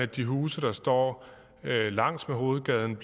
de huse der står langs med hovedgaden